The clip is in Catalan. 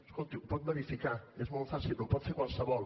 escolti ho pot verificar és molt fàcil ho pot fer qualsevol